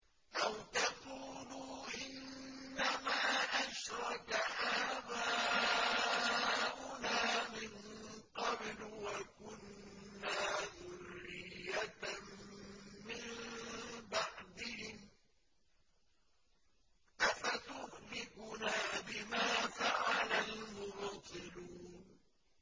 أَوْ تَقُولُوا إِنَّمَا أَشْرَكَ آبَاؤُنَا مِن قَبْلُ وَكُنَّا ذُرِّيَّةً مِّن بَعْدِهِمْ ۖ أَفَتُهْلِكُنَا بِمَا فَعَلَ الْمُبْطِلُونَ